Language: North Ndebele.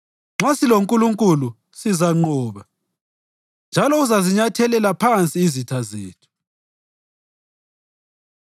Nxa siloNkulunkulu sizanqoba, njalo uzazinyathelela phansi izitha zethu.